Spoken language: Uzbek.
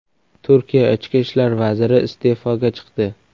Turkiya ichki ishlar vaziri iste’foga chiqdi.